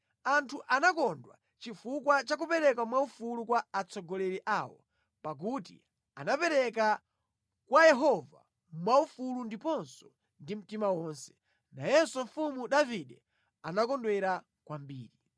Anthu anakondwa chifukwa cha kupereka mwaufulu kwa atsogoleri awo, pakuti anapereka kwa Yehova mwaufulu ndiponso ndi mtima wonse. Nayenso mfumu Davide anakondwera kwambiri.